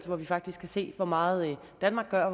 hvor vi faktisk kan se hvor meget danmark gør og